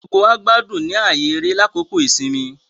Gbogbo wá gbádùn ní ààyè eré lákòókò ìsinmi